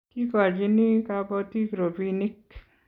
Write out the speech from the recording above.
kikochini kabotik robinik